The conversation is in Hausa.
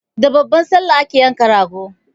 Da babbar Sallah ake yanka rago.